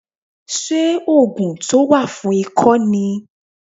Ṣé ògùn tó wà fún ikọ́ ni